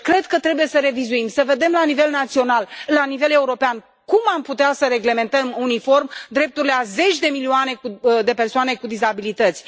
Deci, cred că trebuie să revizuim, să vedem la nivel național, la nivel european, cum am putea să reglementăm uniform drepturile a zeci de milioane de persoane cu dizabilități.